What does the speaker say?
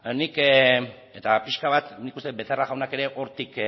nik eta pixka bat nik uste dut becerra jaunak ere hortik